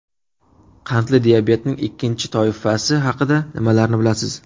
Qandli diabetning ikkinchi toifasi haqida nimalarni bilasiz?